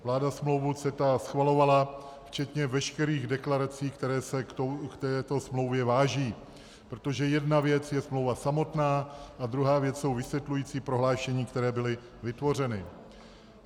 Vláda smlouvu CETA schvalovala včetně veškerých deklarací, které se k této smlouvě váží, protože jedna věc je smlouva samotná a druhá věc jsou vysvětlující prohlášení, která byla vytvořena.